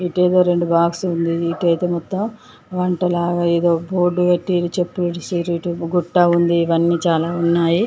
ఇటేదో రెండు బాక్స్ ఉంది. ఇటూ అయితే మొత్తం వంట లాగా ఏదో బోర్డు పెట్టి చెప్పులు ఇడిసుర్రు. ఇటు గుట్ట ఉంది. ఇవన్నీ చాలా ఉన్నాయి.